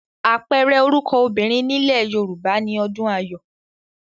Àpẹẹrẹ orúkọ obìnrin nílẹ̀ Yorùbá ni Ọdùnayọ̀